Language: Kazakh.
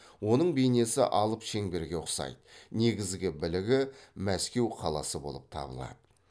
оның бейнесі алып шеңберге ұқсайды негізгі білігі мәскеу қаласы болып табылады